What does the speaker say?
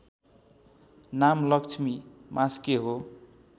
नाम लक्ष्मी मास्के हो